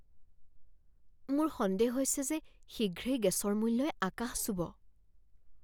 মোৰ সন্দেহ হৈছে যে শীঘ্ৰেই গেছৰ মূল্যই আকাশ চুব।